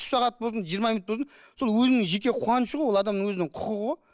үш сағат болсын жиырма минут болсын сол өзінің жеке қуанышы ғой ол адамның өзінің құқығы ғой